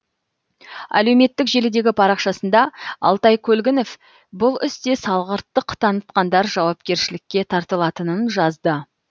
әлеуметтік желідегі парақшасында алтай көлгінов бұл істе салғырттық танытқандар жауапкершілікке тартылатынын жазды